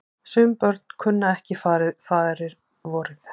Sum börn kunnu ekki faðirvorið.